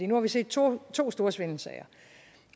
nu har vi set to to store svindelsager